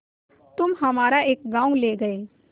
तुम हमारा एक गॉँव ले गये